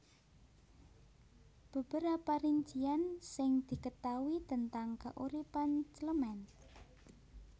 Beberapa rincian sing diketaui tentang keuripan Clement